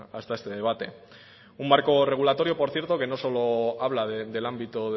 hasta este debate un marco regulatorio por cierto que no solo habla del ámbito